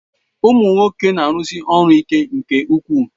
Ụmụ nwoke na-arụsi ọrụ ike nke ukwu.